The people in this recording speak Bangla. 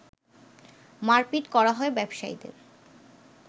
মারপিট করা হয় ব্যবসায়ীদের